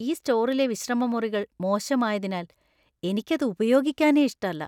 ഈ സ്റ്റോറിലെ വിശ്രമമുറികൾ മോശമായതിനാല്‍ എനിക്കത് ഉപയോഗിക്കാനേ ഇഷ്ടല്ല.